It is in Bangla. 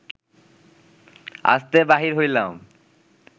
আস্তে বাহির হইলাম